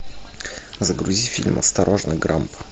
загрузи фильм осторожно грамп